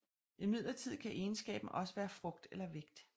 Imidlertid kan egenskaben også være frugt eller vægt